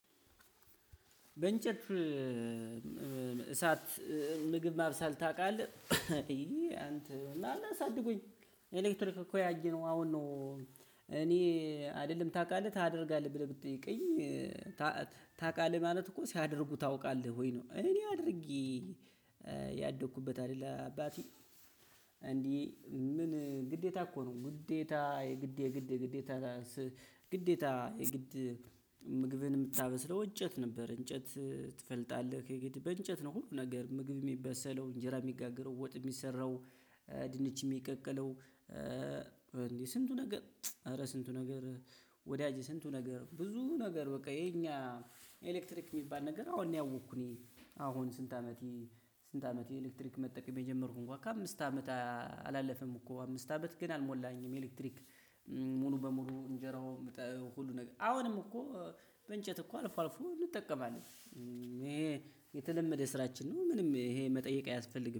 በእንጨት እሳት ምግብ ማብሰል ታቃለህ? እዬ አንተ አላሳድጉኝ ኤሌክትሪክ እኮ ያየነው አሁን ነው እኔ አይደለም ታቃለህ ታደርጋለህ ብለህ ብትጠይቀኝ ታቃለህ ማለት እኮ ሲያደርጉህ ታውቃለህ ወይ ነው እኔ አድርጌ ያደኩበት አይደለ አባቴ፣ እንዲህ ምን ግዴታ እኮ ነው። ግዴታ የግድ የግድ የግድታ የግድታ የግድ ምግብን የምታበስለው እጨት ነበር። እንጨት ትፈልጋለህ ከየግድ በእንጨት ነው ሁሉ ነገር ምግብ የሚበሰለው፣ እንጀራ የሚጋገረው፣ ወጥ የሚሰራው፣ ድንች የሚቀቀለው፣ ስንቱ ነገር ኧረ ስንቱ ነገር ወዳጄ ስንቱ ነገር ብዙ ነገር በቃ የኛ ኤሌክትሪክ የሚባል ነገር አሁን ያወቅኩ እኔ አሁን ስንት አመቴ የስንት አመት የኤሌክትሪክ መጠቀም የጀመርኩ እንኳን ከአምስት አመት አላለፈም እኮ አምስት አመት ግን አልሞላኝም ኤሌክትሪክ ሙሉ በሙሉ እንጀራው ሁሉ ነገር አሁንም እኮ በእንጨት እኮ አልፎ አልፎ እንጠቀማልን። እሄ የተለመደ ስራችን ነው ምንም እሄ መጠየቅ አያስፈልግም።